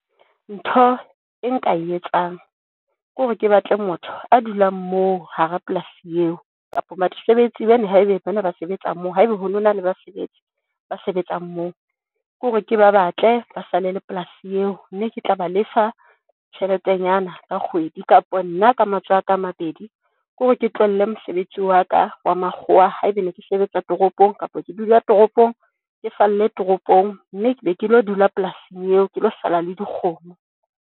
Ntho e nka e etsang kore ke batle motho a dulang moo, hara polasi eo kapa basebetsi bana haebe bana ba sebetsa moo. Haeba ho nona le basebetsi ba sebetsang moo, ke hore ke ba batle ba sale la polasi eo, mme ke tla ba lefa tjheletenyana ka kgwedi kapa nna ka matsoho a ka a mabedi kore ke tlohelle mosebetsi wa ka wa makgwa. Haeba ne ke sebetsa toropong, kapa ke dula toropong ke falle toropong, mme ke be ke lo dula polasing eo ke lo sala le dikgomo.